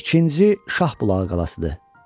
İkinci Şahbulağı qalasıdır.